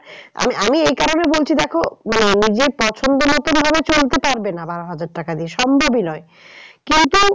আমি, আমি এই কারণে বলছি দেখো মানে নিজের পছন্দ মতন ভাবে চলতে পারবে না বারো হাজার টাকা দিয়ে সম্ভবই নয় কিন্তু